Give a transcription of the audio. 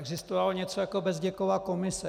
Existovalo něco jako Bezděkova komise.